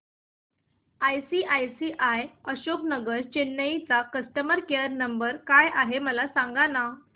ICICI Ashok Nagar Chennai चा customer care number काय आहे मला सांगाना